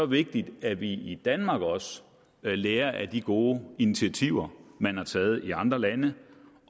vigtigt at vi i danmark også lærer af de gode initiativer man har taget i andre lande